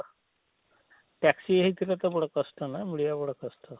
taxi ହେଇ ଥିଲେ ତ ବଡ଼ କଷ୍ଟ ନା ମିଳିବା ବଡ଼ କଷ୍ଟ,